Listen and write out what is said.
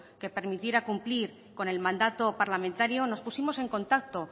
que permitiera cumplir con el mandato parlamentario nos pusimos en contacto